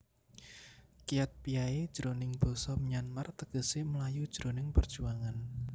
Kyatpyae jroning basa Myanmar tegesé mlayu jroning perjuangan